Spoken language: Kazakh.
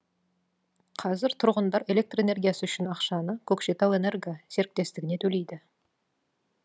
қазір тұрғындар электр энергиясы үшін ақшаны көкшетау энерго серіктестігіне төлейді